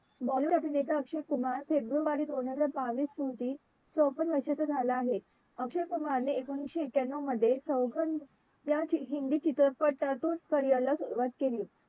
bollywood अभिनेता अक्षय कुमार फेब्रुवारी दोन हजार बावीस रोजी चोपन्न वर्षाचा झाला आहे अक्षय कुमारने एकोणाविशे एक्यानो मध्ये सोगंद या हिंदी चित्रपटातून सुरवात केली आहे.